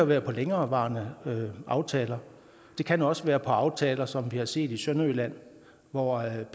være på længerevarende aftaler det kan også være på aftaler som vi har set i sønderjylland hvor ap